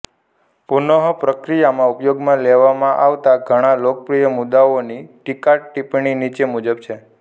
પુનઃપ્રક્રિયામાં ઉપયોગમાં લેવામાં આવતા ઘણા લોકપ્રિય મુદ્દાઓની ટીકાટીપ્પણી નીચે મુજબ છે